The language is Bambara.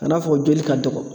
Ka n'a fɔ joli ka dɔgɔ.